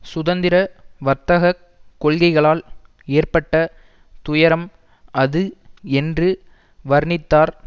சுதந்திர வர்த்தக கொள்கைகளால் ஏற்பட்ட துயரம் அது என்று வர்ணித்தார்